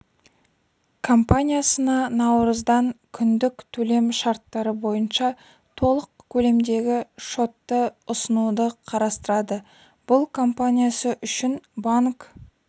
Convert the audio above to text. компаниясына наурыздан күндік төлем шарттары бойынша толық көлемдегі шотты ұсынуды қарастырады бұл компаниясы үшін банк